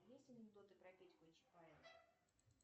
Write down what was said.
есть анекдоты про петьку и чапаева